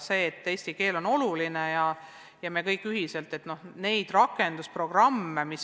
Eesti keel on oluline ja me kõik toetame neid paljusid keelealaseid rakendusprogramme.